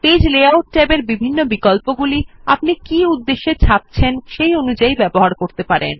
page layout ট্যাবের বিভিন্ন বিকল্পগুলি আপনি কী উদ্দেশ্যে ছাপছেন সেই অনুযাই ব্যবহার করতে পারেন